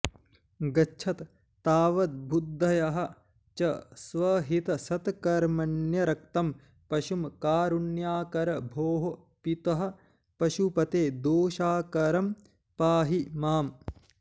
गच्छत् तावदबुद्धय च स्वहितसत्कर्मण्यरक्तं पशुं कारुण्याकर भोः पितः पशुपते दोषाकरं पाहि माम्